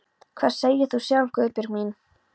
Hvað segir þú sjálf, Guðbjörg mín?